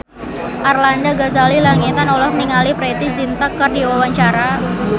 Arlanda Ghazali Langitan olohok ningali Preity Zinta keur diwawancara